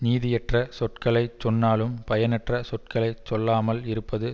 நீதியற்ற சொற்களை சொன்னாலும் பயனற்ற சொற்களை சொல்லாமல் இருப்பது